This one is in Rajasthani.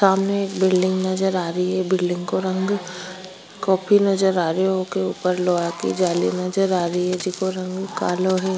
सामने एक बिल्डिंग नजर आरी बिल्डिंग को रंग कॉपी नजर आरो ऊपर जिको रग कालो है।